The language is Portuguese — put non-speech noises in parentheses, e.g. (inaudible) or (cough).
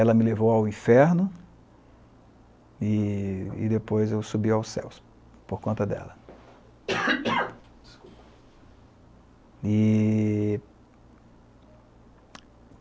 Ela me levou ao inferno e e depois eu subi aos céus por conta dela. (coughs) Desculpa. E